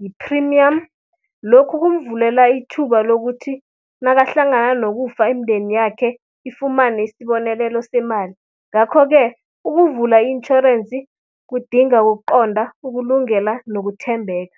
yi-premium. Lokhu kumvulela ithuba lokuthi nakahlangana nokufa imndeni yakhe ifumane isbonelelo semali. Ngakho-ke ukuvula intjhorense kudinga ukuqonda, ukulungela nokuthembeka.